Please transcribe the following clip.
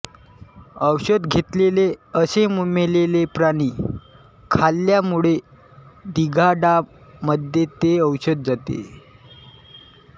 औषध घेतलेले असे मेलेले प्राणी खाल्यामुळे गिधाडांमध्ये ते औषध जाते